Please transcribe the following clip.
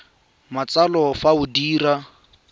sa matsalo fa o dira